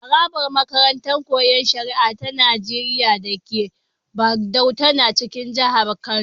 Harabar makarantar Koyon Shari'a ta Nigeriya da ke Bagauda tana cikin jihar Kano.